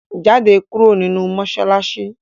Jáde kúrò nínú mọ́ṣáláṣí!